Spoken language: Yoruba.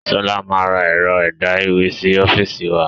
Sọlá máa ra ẹ̀rọ ẹ̀dá ìwé sì ọ́fíìsì wa